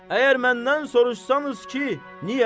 Əgər məndən soruşsanız ki, niyə?